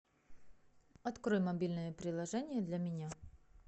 открой мобильное приложение для меня